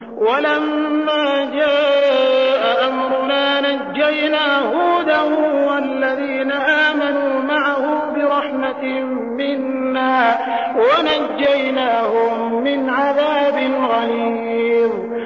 وَلَمَّا جَاءَ أَمْرُنَا نَجَّيْنَا هُودًا وَالَّذِينَ آمَنُوا مَعَهُ بِرَحْمَةٍ مِّنَّا وَنَجَّيْنَاهُم مِّنْ عَذَابٍ غَلِيظٍ